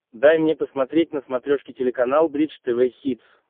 дай мне посмотреть на смотрешке телеканал бридж тв хитс